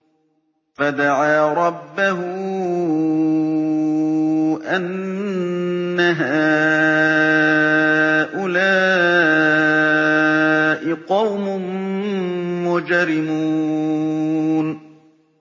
فَدَعَا رَبَّهُ أَنَّ هَٰؤُلَاءِ قَوْمٌ مُّجْرِمُونَ